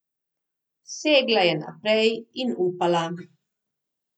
Segla je naprej in upala.